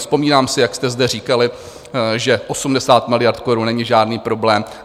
Vzpomínám si, jak jste zde říkali, že 80 miliard korun není žádný problém.